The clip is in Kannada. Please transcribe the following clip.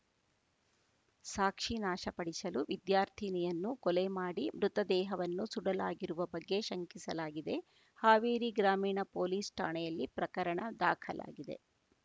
ಸಾಕ್ಷಿ ನಾಶಪಡಿಸಲು ವಿದ್ಯಾರ್ಥಿನಿಯನ್ನು ಕೊಲೆ ಮಾಡಿ ಮೃತ ದೇಹವನ್ನು ಸುಡಲಾಗಿರುವ ಬಗ್ಗೆ ಶಂಕಿಸಲಾಗಿದೆ ಹಾವೇರಿ ಗ್ರಾಮೀಣ ಪೊಲೀಸ್‌ ಠಾಣೆಯಲ್ಲಿ ಪ್ರಕರಣ ದಾಖಲಾಗಿದೆ